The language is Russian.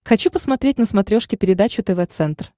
хочу посмотреть на смотрешке передачу тв центр